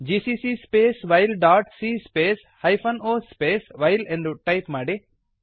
GCC space while dot C space hyphen O space while ಎಂದು type ಮಾಡಿ